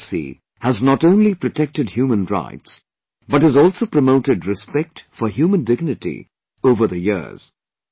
The NHRC has not only protected human rights but has also promoted respect for human dignity over the years